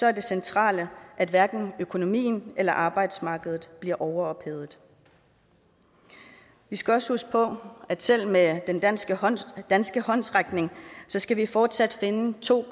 er det centrale at hverken økonomien eller arbejdsmarkedet bliver overophedet vi skal også huske på at selv med den danske håndsrækning danske håndsrækning skal vi fortsat finde to